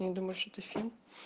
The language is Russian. я не думаю что это фильм